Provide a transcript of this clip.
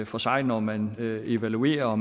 for sig når man evaluerer og